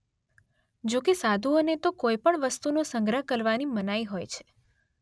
જોકે સાધુઓને તો કોઈ પણ વસ્તુનો સંગ્રહ કરવાની મનાઈ હોય છે